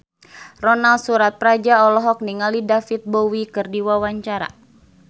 Ronal Surapradja olohok ningali David Bowie keur diwawancara